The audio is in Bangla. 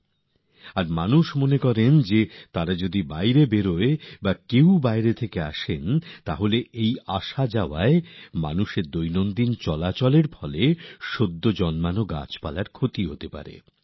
কেননা তাঁরা বিশ্বাস করেন যে এই সময় কেউ যদি গ্রামে আসেন বা গ্রাম থেকে যান তাহলে মানুষের যাতায়াতের ফলে গাছপালার ক্ষতি হতে পারে